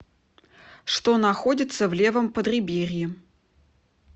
что находится в левом подреберье